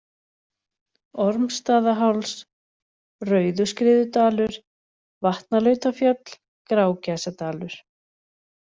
Ormsstaðaháls, Rauðuskriðudalur, Vatnalautafjöll, Grágæsadalur